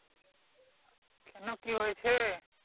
কেন কি হয়েছে?